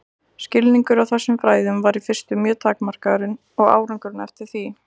Skilningur á þessum fræðum var í fyrstu mjög takmarkaður og árangurinn eftir því.